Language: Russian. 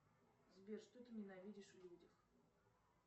сбер что ты ненавидишь в людях